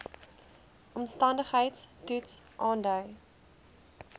omstandigheids toets aandui